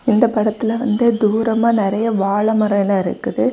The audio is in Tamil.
இந்த படத்துல வந்து தூரமா நெறியா வாழ மரோளா இருக்குது.